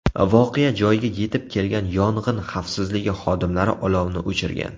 Voqea joyiga yetib kelgan yong‘in xavfsizligi xodimlari olovni o‘chirgan.